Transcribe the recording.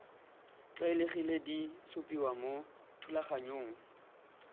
tlwaelegileng di supiwa mo thulaganyong